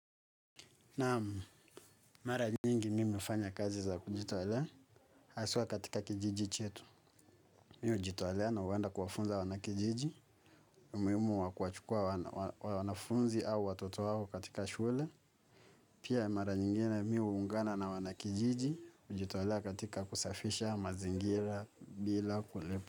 Naam mara nyingi mimi hufanya kazi za kujitolea, haswa katika kijiji chetu. Mimi hujitolea na huenda kuwafunza wanakijiji, umuhimu wa kuwachukua wanafunzi au watoto wao katika shule. Pia mara nyingine mimi huungana na wanakijiji, kujitolea katika kusafisha mazingira bila kulipwa.